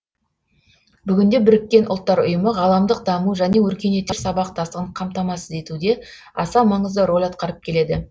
бүгінде біріккен ұлттар ұйымы ғаламдық даму және өркениеттер сабақтастығын қамтамасыз етуде аса маңызды рөл атқарып келеді